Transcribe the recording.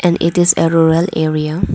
it is a rural area.